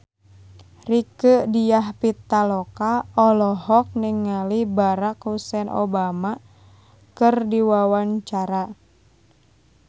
Rieke Diah Pitaloka olohok ningali Barack Hussein Obama keur diwawancara